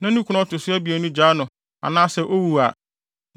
na ne kunu a ɔto so abien no gyaa no anaasɛ owu a,